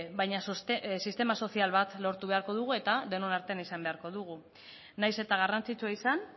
baina sistema sozial bat lortu beharko dugu eta denon artean izan beharko dugu nahiz eta garrantzitsua izan